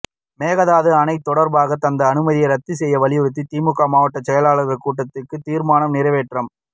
மேகதாது அணை தொடர்பாக தந்த அனுமதியை ரத்து செய்ய வலியுறுத்தி திமுக மாவட்ட செயலாளர்கள் கூட்டத்தில் தீர்மானம் நிறைவேற்றம்